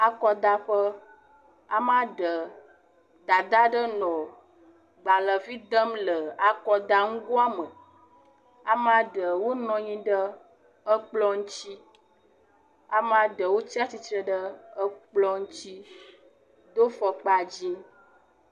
Akɔdaƒe. Amea ɖe. Dada aɖe nɔ agbalevi dem le akɔdanugoa me. Ame aɖewo nɔ anyi ɖe ekplɔ ŋuti. Ame aɖewo tsi atsitre ɖe ekplɔ ŋuti do fɔkpa dzi.